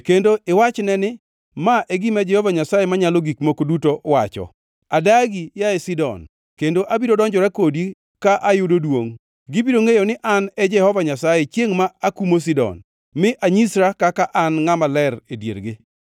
kendo iwachne ni: ‘Ma e gima Jehova Nyasaye Manyalo Gik Moko Duto wacho: “ ‘Adagi, yaye Sidon, kendo abiro donjora kodi ka ayudo duongʼ. Gibiro ngʼeyo ni An e Jehova Nyasaye, chiengʼ ma akumo Sidon, mi anyisra kaka An ngʼama ler e diergi.